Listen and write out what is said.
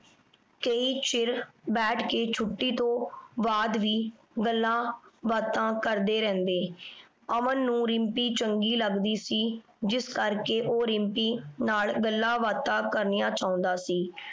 ਕਈ ਛੇਰ ਬੈਠ ਕੇ ਛੁਟੀ ਤੋਂ ਬਾਅਦ ਵੀ ਗੱਲਾਂ ਬਾਤਾਂ ਕਰਦੇ ਰੇਹ੍ਨ੍ਡੇ ਅਮਨ ਨੂ ਰਿਮ੍ਪੀ ਚੰਗੀ ਲਗਦੀ ਸੀ ਜਿਸ ਕਰ ਕੇ ਊ ਰਿਮ੍ਪੀ ਨਾਲ ਗੱਲਾਂ ਬਾਤਾਂ ਕਰ੍ਨਿਯਾਂ ਚੌਂਦਾ ਸੀ